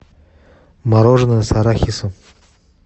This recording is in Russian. мороженое с арахисом